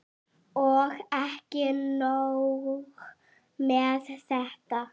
Og ekki nóg með þetta.